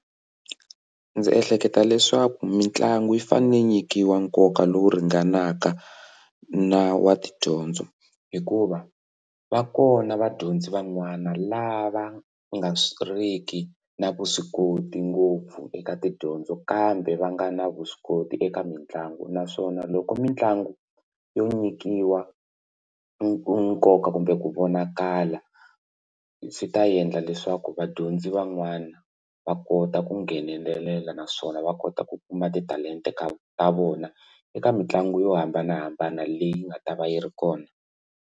Ndzi ehleketa leswaku mitlangu yi fane yi nyikiwa nkoka lowu ringanaka na wa tidyondzo hikuva va kona vadyondzi van'wana lava va nga ri ki na vuswikoti ngopfu eka tidyondzo kambe va nga na vuswikoti eka mitlangu naswona loko mitlangu yo nyikiwa nkoka kumbe ku vonakala ndzi ta endla leswaku vadyondzi van'wana va kota ku nghenelela naswona va kota ku kuma titalenta ta vona eka mitlangu yo hambanahambana leyi nga ta va yi ri kona.